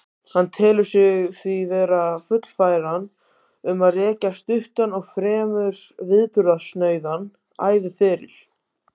Hann telur sig því vera fullfæran um að rekja stuttan og fremur viðburðasnauðan æviferil.